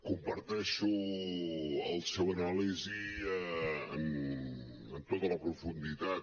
comparteixo la seva anàlisi en tota la profunditat